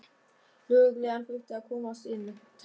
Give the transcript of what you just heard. Lögreglan þurfti að komast inn, takk!